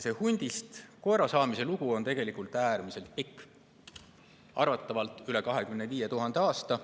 Hundist koera saamise lugu on tegelikult äärmiselt pikk: arvatavalt üle 25 000 aasta.